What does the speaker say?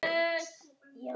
Gjóska- laus gosefni